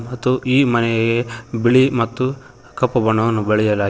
ಮತ್ತು ಈ ಮನೆಗೆ ಬಿಳಿ ಮತ್ತು ಕಪ್ಪು ಬಣ್ಣವನ್ನು ಬಳೆಯಲಾಗಿ--